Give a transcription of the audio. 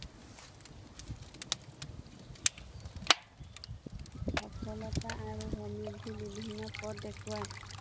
সফলতা আৰু মনোবৃদ্বিৰ বিভিন্ন পথ দেখুয়ায়